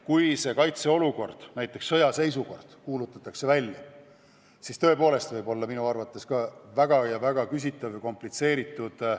Kui aga näiteks sõjaseisukord kuulutatakse välja, siis võib valimiste läbiviimine minu arvates tõepoolest olla väga küsitav ja komplitseeritud.